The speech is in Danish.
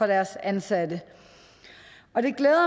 deres ansatte og det glæder